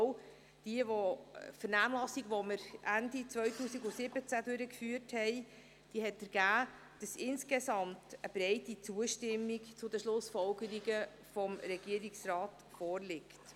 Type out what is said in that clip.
Auch die im Jahr 2017 durchgeführte Vernehmlassung ergab, dass insgesamt eine breite Zustimmung zu den Schlussfolgerungen des Regierungsrats vorliegt.